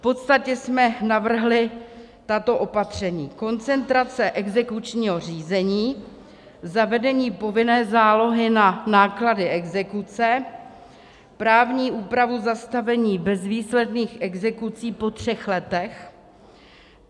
V podstatě jsme navrhli tato opatření: koncentrace exekučního řízení, zavedení povinné zálohy na náklady exekuce, právní úprava zastavení bezvýsledných exekucí po třech letech.